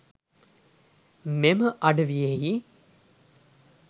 මෙම අඩවියෙහි